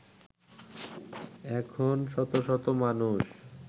এখন শত শত মানুষ